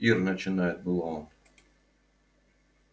ир начинает было он